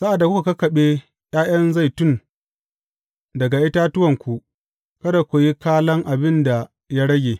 Sa’ad da kuka kakkaɓe ’ya’yan zaitun daga itatuwanku, kada ku yi kalan abin da ya rage.